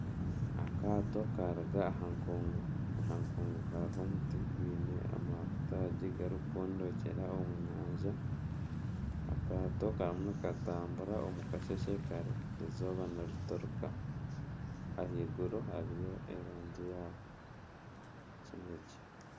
Akaato karuga aha nkungu, aha nkungu hariho omuti gwine amataagi garikukondokyera omu nyanja akaato karimu nikatambura omu kasheshe kare eizooba niriturika ahaiguru hariyo erangi ya kinekye.